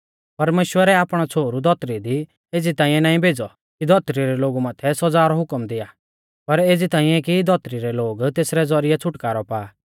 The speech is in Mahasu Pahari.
परमेश्‍वरै आपणौ छ़ोहरु धौतरी दी एज़ी ताइंऐ नाईं भेज़ौ कि धौतरी रै लोगु माथै सौज़ा रौ हुकम दिआ पर एज़ी ताइंऐ कि धौतरी रै लोग तेसरै ज़ौरिऐ छ़ुटकारौ पा